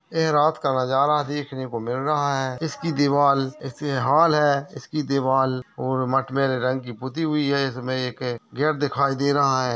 ऐं रात का नजारा देखने को मिल रहा है इसकी दीवाल इसमें हॉल है इसकी दीवाल और मटमैंले रंग की पुती हुई है इसमें एक गेट दिखाइ दे रहा है।